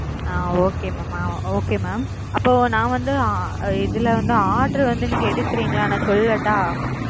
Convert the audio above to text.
அ okay mam okay mam அப்போ நா வந்து இதுல வந்து order வந்து நீங்க எடுக்குறீங்களா நான் சொல்லட்டா.